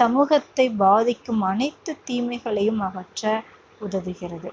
சமூகத்தைப் பாதிக்கும் அனைத்து தீமைகளையும் அகற்ற உதவுகிறது.